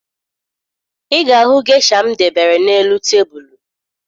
Ị ga-ahụ gesha m debere n'elu tebulu